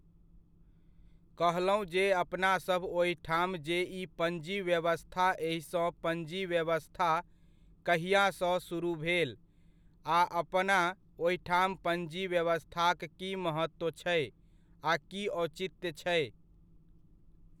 कहलहुँ जे अपनासभ ओहिठाम जे ई पञ्जी व्यवस्था एहिसँ पञ्जी व्यवस्था कहिआसँ सुरुह भेल आ अपना ओहिठाम पञ्जी व्यवस्थाक की महत्त्व छै आ की औचित्य छै?